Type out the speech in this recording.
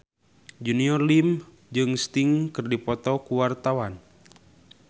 Junior Liem jeung Sting keur dipoto ku wartawan